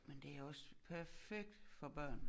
Mn det også perfekt for børn